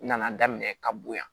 N nana daminɛ ka bo yan